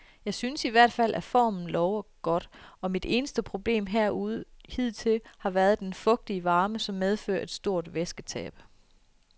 Jeg synes i hvert fald at formen lover godt, og mit eneste problem herude hidtil har været den fugtige varme, som medfører et stort væsketab.